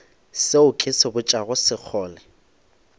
seo ke se botšago sekgole